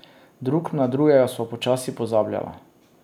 Drug na drugega sva počasi pozabljala.